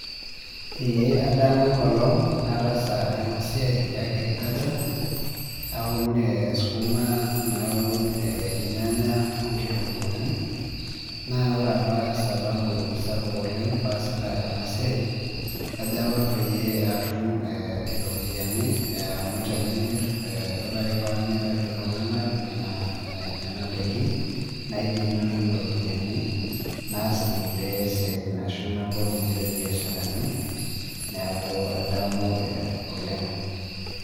ee adamu enkolong nataasa ena siiai ee agriculture naun ilnyanya ,okitunkuuni, naaa ore apa sababu sapuk oleng pee aisita ena siai, kajo apa pee atum iropiyiani, amu tenimir, ore ake pee amiraki iltunganak nena, daikin, naidim natum iropiyiani, naas inkulie siatin ashu nabol nkulie biasharani, neeku adamu oleng.